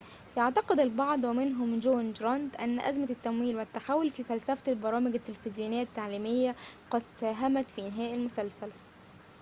يعتقد البعض ومنهم جون جرانت أن أزمة التمويل والتحول في فلسفة البرامج التلفزيونية التعليمية قد ساهمت في إنهاء المسلسل